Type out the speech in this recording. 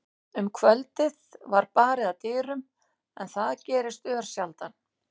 Um kvöldið var barið að dyrum, en það gerðist örsjaldan.